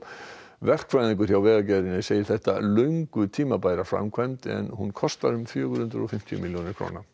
verkfræðingur hjá Vegagerðinni segir þetta löngu tímabæra framkvæmd en hún kostar fjögur hundruð og fimmtíu milljónir